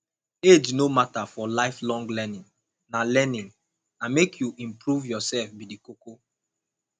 age no matter for lifelong learning na learning na make you improve yourself be the koko